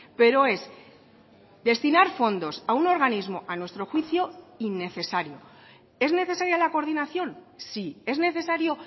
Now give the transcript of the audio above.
pero es destinar fondos a un organismo a nuestro juicio innecesario es necesaria la coordinación sí es necesario